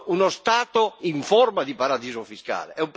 uno Stato in forma di paradiso fiscale.